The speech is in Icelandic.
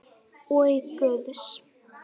Og Guðs.